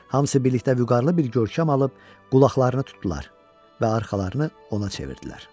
Hamısı birlikdə vüqarlı bir görkəm alıb, qulaqlarını tutdular və arxalarını ona çevirdilər.